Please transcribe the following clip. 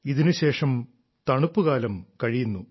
ഇതിനുശേഷം തണുപ്പുകാലം കഴിയുന്നു